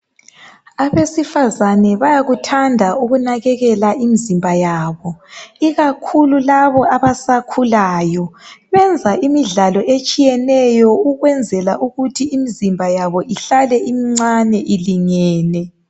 Abesifazana bayakuthanda ukunakekela imizimba yabo. Ikakhulu labo abasakhulayo. Benza imidlalo etshiyeneyo ukwenzela ukuthi imizimba yabo ihlale imincane ilingene.